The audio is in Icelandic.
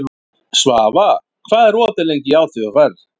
Svafa, hvað er opið lengi í ÁTVR?